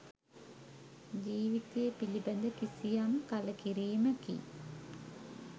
ජීවිතය පිළිබඳ කිසියම් කළකිරීමකි.